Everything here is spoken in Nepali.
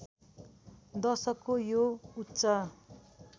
दशकको यो उच्च